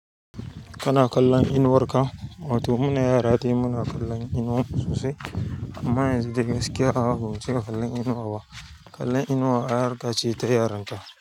Kana kallon inuwar ka? Wato muna yara dai mu na kallon inuwanmu sosai. Amma yanzu dai gaskiya ba cika kallon inuwa ba. Kallon inuwa harƙacr ta yaran ta.